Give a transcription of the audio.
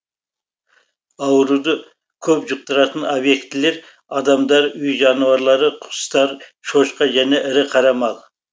ауруды көп жұқтыратын объектілер адамдар үй жануарлары құстар шошқа және ірі қара мал